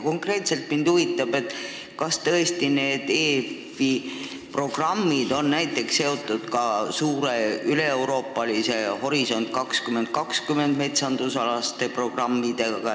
Konkreetselt huvitab mind, kas need EFI programmid on seotud ka suure üleeuroopalise ettevõtmise "Horisont 2020" metsandusalaste programmidega.